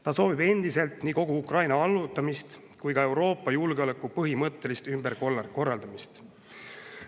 Ta soovib endiselt nii kogu Ukraina allutamist kui ka Euroopa julgeoleku põhimõttelist ümberkorraldamist.